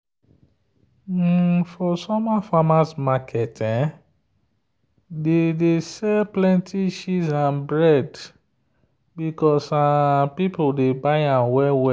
for summer farmers market dey sell plenty cheese and bread because people dey buy am well.